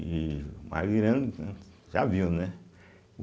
E o mar virando, né, já viu, né?